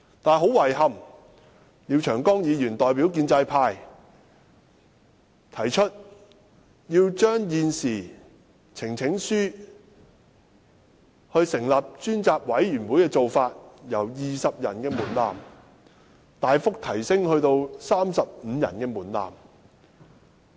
但是，很遺憾，廖長江議員代表建制派，提出要將現時通過提交呈請書成立專責委員會的做法，門檻由20人支持大幅提升至35人。